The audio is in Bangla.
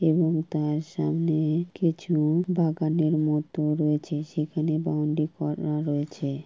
এবং তার সামনে-এ কিছু-উ বাগানের মত রয়েছে। সেখানে বাউন্ডি করা রয়েছে ।